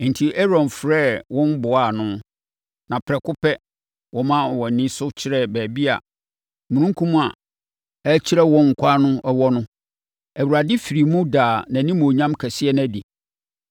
Enti, Aaron frɛɛ wɔn boaa ano, na prɛko pɛ, wɔmaa wɔn ani so kyerɛɛ baabi a omununkum a ɛrekyerɛ wɔn ɛkwan no wɔ no, Awurade firii mu daa nʼanimuonyam kɛseɛ no adi.